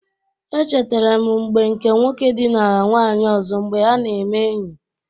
Echetara m mgbe nke nwoke dịnara nwanyị ọzọ mgbe ha na-eme enyi.